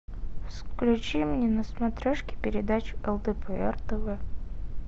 включи мне на смотрешке передачу лдпр тв